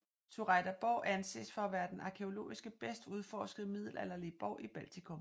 Turaida Borg anses for at være den arkæologisk bedst udforskede middelalderlige borg i Baltikum